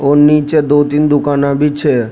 और निचे दो तीन दुकाना भी छ।